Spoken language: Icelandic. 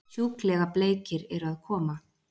Sjúklega bleikir eru að koma!